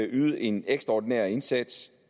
ydet en ekstraordinær indsats